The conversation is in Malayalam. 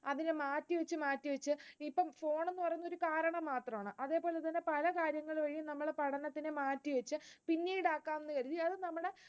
അതിനെ മാറ്റിവെച്ച് മാറ്റിവെച്ച് ഇപ്പം phone എന്ന് പറയുന്ന ഒരു കാരണം മാത്രമാണ്. അതുപോലെതന്നെ പല കാര്യങ്ങൾ വഴിയും നമ്മൾ പഠനത്തിനെ മാറ്റിവെച്ചു, പിന്നീട് ആക്കാമെന്ന് കരുതി അത് നമ്മളെ